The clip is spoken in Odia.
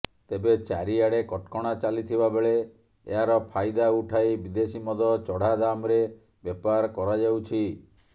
ତେବେ ଚାରିଆଡେ କଟକଣା ଚାଲିଥିବା ବେଳେ ଏହାର ଫାଇଦା ଉଠାଇ ବିଦେଶୀ ମଦ ଚଢା ଦାମ୍ରେ ବେପାର କରାଯାଉଛି